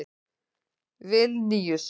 Vilníus